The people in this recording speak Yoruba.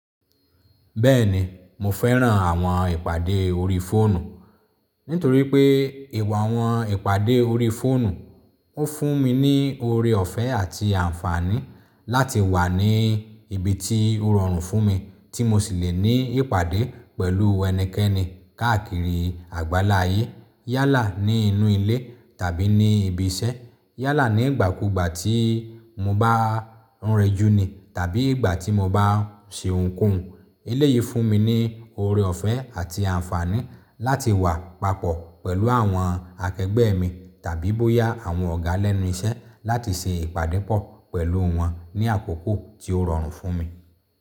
Bẹ́ẹ̀ni mo fẹ́ràn àwọn ìpàdé orí fóònù. Nítorí pé ìwà àwọn ìpàdé orí fóònù ó fún mi ní ọ̀rẹ ọ̀fẹ́ àti ànfàní láti wà ní ibi tí ó rọrùn fún mi tí mo sì le ní ìpàdé pẹ̀lú ẹnikẹ́ni káàkiri àgbáláyé. Yálà ní inú ilé tàbí ní ibi iṣẹ́. Yálà ní ìgbà kú ìgbà tí mo bá ń rẹjú ni tàbí ìgbà tí mo bá ń ṣe ohunkóhun. Ele yìí fún mi ní ọ̀rẹ ọ̀fẹ́ àti ànfàní láti wà papọ̀ pẹ̀lú àwọn akẹgbẹ́ mi tàbí bóyá àwọn ọ̀gá lẹ́nu iṣẹ́ láti ṣe ìpàdé pọ̀ pẹ̀lú wọn ní àkókò tí ó rọrùn fún mi.